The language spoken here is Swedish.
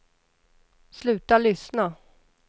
sluta lyssna